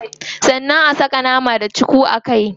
Sannan a saka nama da cuku a kai.